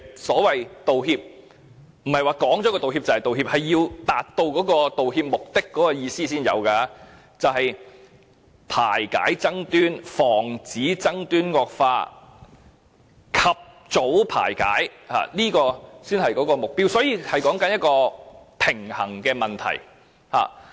所謂"道歉"，不是口講道歉便可以，是要達到道歉目的才有意義，就是要排解爭端，防止爭端惡化，及早排解爭端，這才是目標，所以是一個平衡的問題。